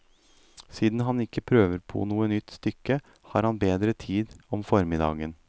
Siden han ikke prøver på noe nytt stykke, har han bedre tid om formiddagen.